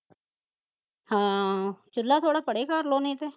ਹਾਂ, ਚੁਲਾ ਥੋੜਾ ਪਰੇ ਕਰਲੋ ਨਹੀਂ ਤੇ